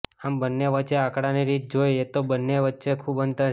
આમ બંને વચ્ચે આંકડાની રીતે જોઇ એ તો બંને વચ્ચે ખુબ અંતર છે